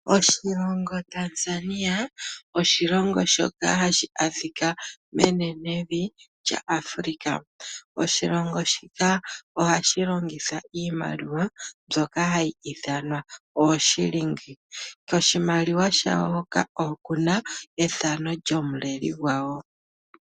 Oshilongo Tanzania, oshilongo shoka hashi adhika menevi lya Africa. Oshilongo shika ohashi longitha iimaliwa, mbyoka hayi ithanwa ooshilingi. Koshimaliwa shawo hoka okuna ethano lyomuleli gwawo.